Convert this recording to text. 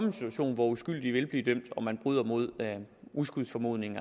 en situation hvor uskyldige vil blive dømt og man bryder med uskyldsformodningen